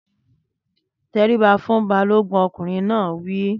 Tẹríba fún Balógun! Ọkùnrin náà wí.